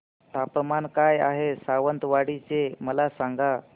तापमान काय आहे सावंतवाडी चे मला सांगा